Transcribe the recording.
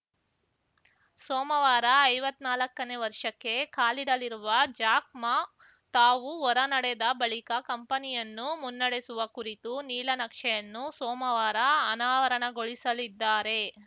ಸೋಮವಾರ ಐವತ್ನಾಲ್ಕನೇ ವರ್ಷಕ್ಕೆ ಕಾಲಿಡಲಿರುವ ಜಾಕ್‌ ಮಾ ತಾವು ಹೊರ ನಡೆದ ಬಳಿಕ ಕಂಪನಿಯನ್ನು ಮುನ್ನಡೆಸುವ ಕುರಿತು ನೀಲನಕ್ಷೆಯನ್ನು ಸೋಮವಾರ ಅನಾವರಣಗೊಳಿಸಲಿದ್ದಾರೆ